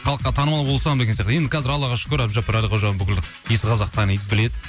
халыққа танымал болсам деген сияқты енді қазір аллаға шүкір әбдіжаппар әлқожа бүкіл иісі қазақ таниды біледі